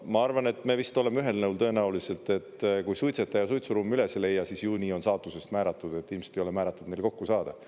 Ma arvan, et me vist oleme ühel nõul tõenäoliselt, et kui suitsetaja suitsuruumi üles ei leia, siis ju nii on saatusest määratud, et ilmselt ei ole määratud neile kokku saada.